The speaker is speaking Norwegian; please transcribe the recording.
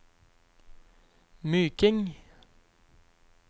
Myking